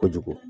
Kojugu